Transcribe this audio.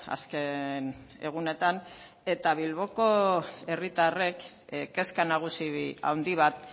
azken egunetan eta bilboko herritarrek kezka nagusi handi bat